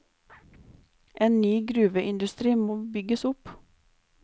En ny gruveindustri må bygges opp.